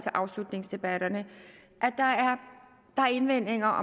afslutningsdebatter er indvendinger